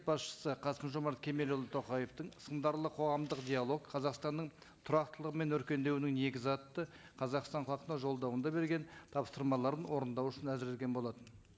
басшысы қасым жомарт кемелұлы тоқаевтың сындарлы қоғамдық диалог қазақстанның тұрақтылығы мен өркендеуінің негізі атты қазақстан халқына жолдауында берген тапсырмаларын орындау үшін әзірленген болатын